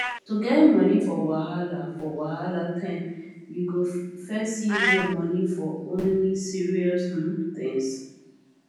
to get money for wahala for wahala time you go first use your money for only serious um things